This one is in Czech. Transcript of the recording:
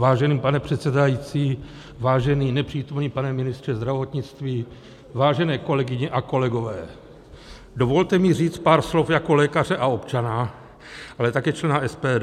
Vážený pane předsedající, vážený nepřítomný pane ministře zdravotnictví, vážené kolegyně a kolegové, dovolte mi říci pár slov jako lékaře a občana, ale také člena SPD.